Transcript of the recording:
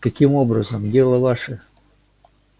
каким образом дело ваше